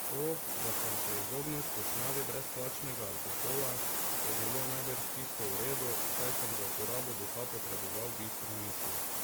To, da sem se izognil skušnjavi brezplačnega alkohola, je bilo najbrž čisto v redu, saj sem za uporabo duha potreboval bistre misli.